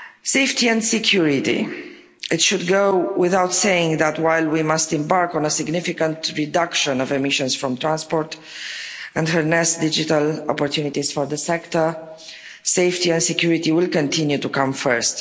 Safety and security it should go without saying that, while we must embark on a significant reduction of emissions from transport and harness digital opportunities for the sector, safety and security will continue to come first.